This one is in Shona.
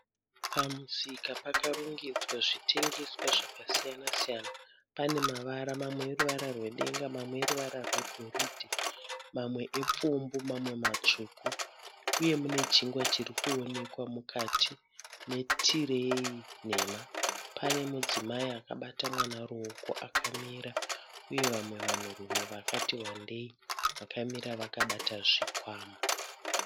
Pamusika pakarongedzwa zvitengeswa zvakasiyana siyana. Pane mavara mamwe eruvara rwedenga mamwe neruvara rwegoridhe mamwe epfumbu mamwe matsvuku uye mune chingwa chirikuonekwa mukati metireyi nhema. Pane mudzimai akabata mwana ruoko akamira uye vamwe vanhurume vakati wandei vakamira vakabata zvikwama.